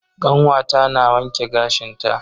Kanwata na wanke gashin ta.